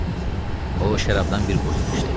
O, şərabdan bir qurtum içdi.